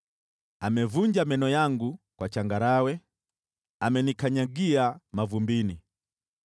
Amevunja meno yangu kwa changarawe, amenikanyagia mavumbini.